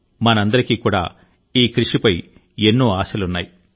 మనందరికీ కూడా ఈ కృషిపై ఎన్నో ఆశలున్నాయి